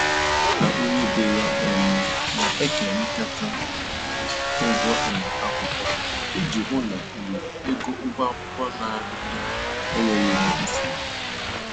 Ya na onye ebe ya um na-ekerikata ụgwọ um akwụkwọ iji hụ na um ego ụgwọ akwụkwọ a na-erị elu enyeghị ha nsogbu